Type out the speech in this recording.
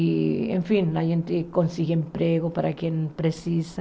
E enfim, a gente consegue emprego para quem precisa.